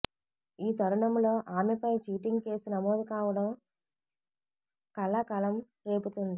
ఈ తరుణంలో ఆమెపై చీటింగ్ కేసు నమోదు కావడం కలకలం రేపుతుంది